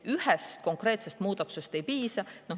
Ühest konkreetsest muudatusest ei piisa.